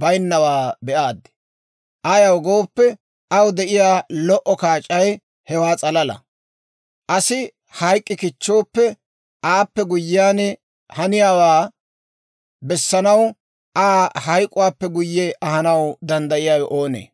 bayinnawaa be'aad. Ayaw gooppe, aw de'iyaa lo"o kaac'ay hewaa s'alala. Asi hayk'k'i kichchooppe aappe guyyiyaan haniyaawaa bessanaw, Aa hayk'k'uwaappe guyye ahanaw danddayiyaawe oonee?